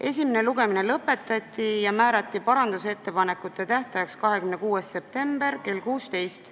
Esimene lugemine lõpetati ja parandusettepanekute esitamise tähtajaks määrati 26. september kell 16.